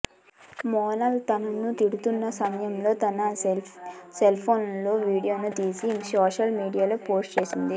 మోనాల్ అతను తిడుతున్న సమయంలో తన సెల్ఫోన్లలో వీడియో తీసి సోషల్ మీడియోలో పోస్టు చేసింది